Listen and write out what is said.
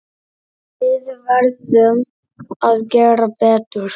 Við verðum að gera betur.